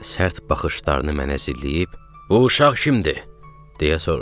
Sərt baxışlarını mənə zilləyib, "Bu uşaq kimdir?" deyə soruşdu.